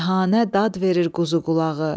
Dəhanə dad verir quzuqulağı.